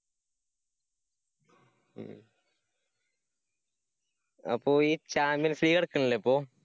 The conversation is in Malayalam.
അപ്പോ ഈ champions league നടക്കണില്ലേ ഇപ്പോ?